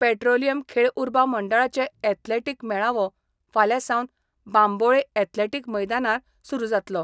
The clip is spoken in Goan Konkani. पेट्रोलिम खेळ उर्बा मंडळाचो यॅथलेटीक मेळावो फाल्यां सावन बांबोळे यॅथलेटीक मैदानार सुरू जातलो.